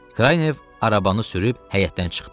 Kraynev arabanı sürüb həyətdən çıxdı.